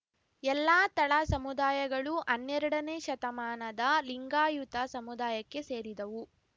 ಎಲ್ಲಾ ತಳ ಸಮುದಾಯಗಳೂ ಹನ್ನೆರಡನೇ ಶತಮಾನದ ಲಿಂಗಾಯುತ ಸಮುದಾಯಕ್ಕೆ ಸೇರಿದವು